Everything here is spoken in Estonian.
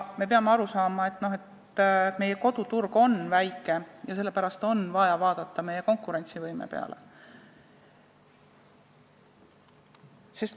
Me peame aru saama, et meie koduturg on väike ja sellepärast on vaja vaadata meie konkurentsivõime peale.